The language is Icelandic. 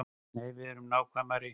Nei, verum nákvæmari.